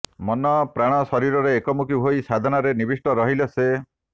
ମନପ୍ରାଣ ଶରୀରରେ ଏକମୁଖୀ ହୋଇ ସାଧନାରେ ନିବିଷ୍ଟ ରହିଲେ ସେ